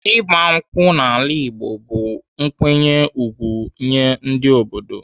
Ịgba nkwụ n'ala Igbo bụ nkwanye ùgwù nyee ndị obodo.